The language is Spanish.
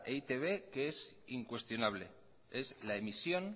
e i te be que es incuestionable es la emisión